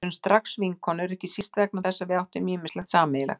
Við urðum strax vinkonur, ekki síst vegna þess að við áttum ýmislegt sameiginlegt.